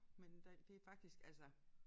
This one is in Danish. Men der det faktisk altså